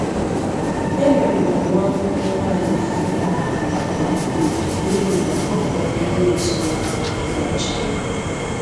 E merụrụ nwa akwụkwọ nwaanyị FUTA ahụ nke ukwuu, n'ihi na ọ kpọrọ ndị otú ya, ndị achawo.